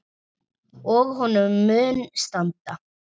Og honum mun standa.